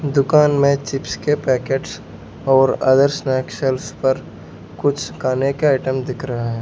दुकान में चिप्स के पैकेट्स और अदर स्नैक्स शेल्व्स पर कुछ खाने के आइटम्स दिख रहे हैं।